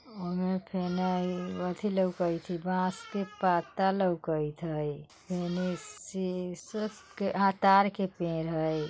उन्ने लउकत हई बांस के पत्ता लउकत हई एमे सिसो के ताड़ के पेड़ हई।